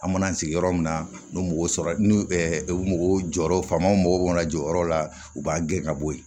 An mana sigi yɔrɔ min na n'u mago sɔrɔ n'u mɔgɔ jɔyɔrɔ faamaw mago b'u la jɔyɔrɔ la u b'a gɛn ka bɔ yen